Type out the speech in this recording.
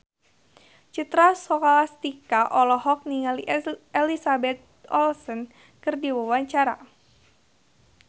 Citra Scholastika olohok ningali Elizabeth Olsen keur diwawancara